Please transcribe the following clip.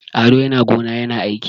Ado yana gona yana aiki.